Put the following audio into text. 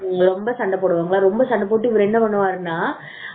ரொம்ப சண்டை போடுவாங்க ரொம்ப சண்டை போட்டு இவர் என்ன பண்ணுவாருனா